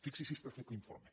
fixi’s si està fet l’informe